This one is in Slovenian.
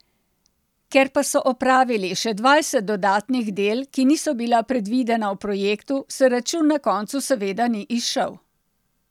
Ker pa so opravili še dvajset dodatnih del, ki niso bila predvidena v projektu, se račun na koncu seveda ni izšel.